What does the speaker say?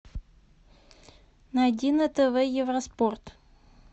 найди на тв евроспорт